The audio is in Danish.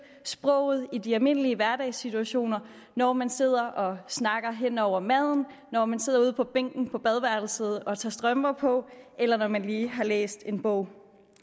sproget i de almindelige hverdagssituationer når man sidder og snakker hen over maden når man sidder ude på bænken på badeværelset og tager strømper på eller når man lige har læst en bog